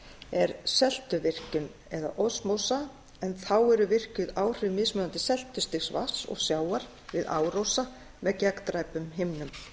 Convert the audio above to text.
er seltuvirkjun eða osmósa en þá eru virkjuð áhrif mismunandi seltustigs vatns og sjávar við árósa með gegndræpum himnum